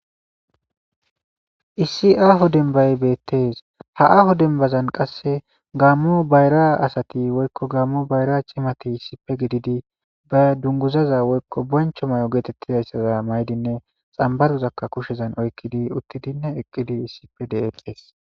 issi aaho denbay beettees ha aaho dembazan qasse gaammo bayra asati woykko gammo bayra chimati sipe gididi ba dunguzaza woykko boncho may7o geetettidayssaza maydinne xambadozakka kushezan oykkidi uttidinne eqqidi issipe dexes